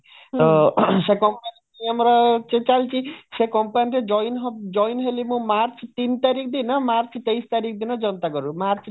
ଅ ସେ company ଆମର ସେ ଚାଲିଛି ସେ company ରେ join ହେଲି ମୁଁ march ତିନ ତାରିଖ ଦିନ ମାର୍ଚ୍ଚ ତେଇଶ ତାରିଖ ଦିନ ଜନତା କର୍ଫୁ